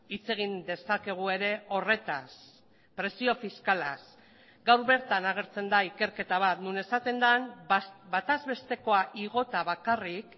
hitz egin dezakegu ere horretaz presio fiskalaz gaur bertan agertzen da ikerketa bat non esaten den batazbestekoa igota bakarrik